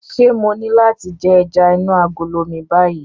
Ṣé mo ní láti jẹ ẹja inú agolo mi báyìí?